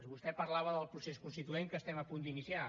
vostè parlava del procés constituent que estem a punt d’iniciar